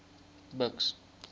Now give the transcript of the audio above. buks